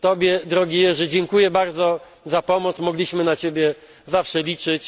Tobie, drogi Jerzy, dziękuję bardzo za pomoc, mogliśmy na Ciebie zawsze liczyć.